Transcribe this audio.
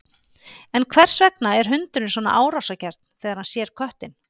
En hvers vegna er hundurinn svona árásargjarn þegar hann sér köttinn?